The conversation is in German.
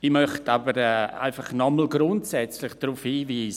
Ich möchte aber noch einmal grundsätzlich darauf hinweisen: